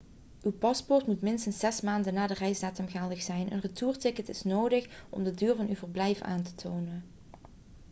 uw paspoort moet minstens 6 maanden na de reisdatum geldig zijn een retourticket is nodig om de duur van uw verblijf aan te tonen